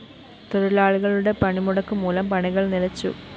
തൊഴിലാളികളുടെ പണിമുടക്ക്മൂലം പണികള്‍ നിലച്ചു